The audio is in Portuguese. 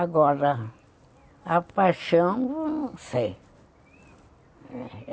Agora, a paixão, não sei.